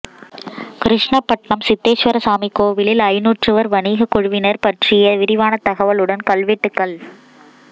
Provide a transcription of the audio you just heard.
கிருஷ்ணபட்ணம் சித்தேஸ்வரசுவாமி கோவிலில் ஐந்நூற்றுவர் வணிகக் குழுவினர் பற்றிய விரிவான தகவலுடன் கல்வெட்டுகள்